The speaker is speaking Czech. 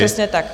Přesně tak.